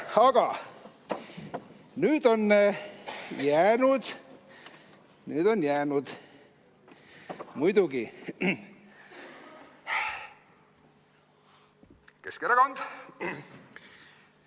Aga nüüd on jäänud muidugi Keskerakond.